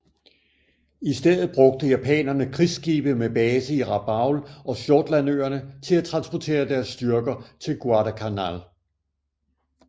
I stedet brugte japanerne krigsskibe med base i Rabaul og Shortlandøerne til at transportere deres styrker til Guadalcanal